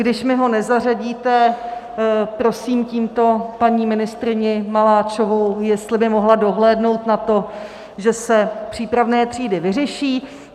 Když mi ho nezařadíte, prosím tímto paní ministryni Maláčovou, jestli by mohla dohlédnout na to, že se přípravné třídy vyřeší.